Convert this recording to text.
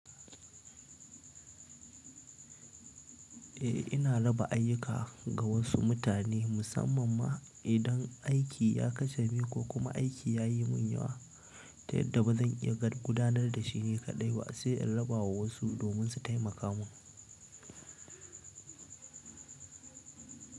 Eh, ina raba ayyuka ga wasu mutane musamman ma idan aiki ya kacame ko kuma aiki ya yi mun yawa, ta yadda ba zan iya gad gudanar da shi ni kaɗai ba sai in raba wa wasu domin su taimaka mun.